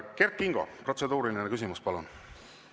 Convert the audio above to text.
Kert Kingo, protseduuriline küsimus, palun!